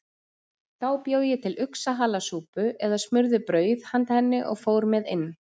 Þá bjó ég til uxahalasúpu eða smurði brauð handa henni og fór með inn.